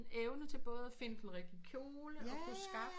Evne til både at kunne finde den rigtige kjole og kunne skaffe